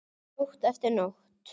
Nótt eftir nótt.